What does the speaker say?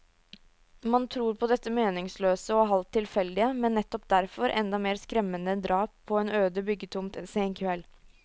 Man tror på dette meningsløse og halvt tilfeldige, men nettopp derfor enda mer skremmende drap på en øde byggetomt en sen kveld.